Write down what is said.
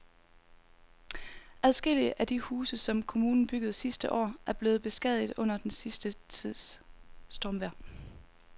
Adskillige af de huse, som kommunen byggede sidste år, er blevet beskadiget under den sidste tids stormvejr.